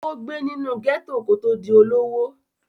ó gbé nínú gẹ́tò kó tó di olówó